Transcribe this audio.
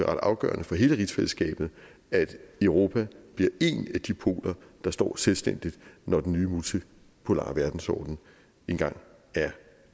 afgørende for hele rigsfællesskabet at europa bliver en af de poler der står selvstændigt når den nye multipolare verdensorden engang er